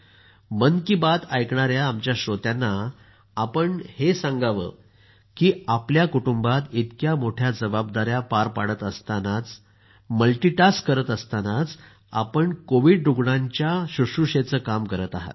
मन की बात ऐकणाऱ्यांना आपण हे सांगा की आपल्या कुटुंबात इतक्या मोठ्या जबाबदाऱ्या पार पाडतानाच मल्टीटास्क करत असताना आपण कोविड रूग्णांच्या शुश्रुषेचं काम करत आहात